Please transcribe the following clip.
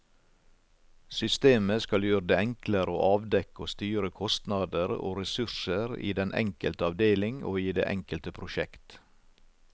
Systemet skal gjøre det enklere å avdekke og styre kostnader og ressurser i den enkelte avdeling og i det enkelte prosjekt.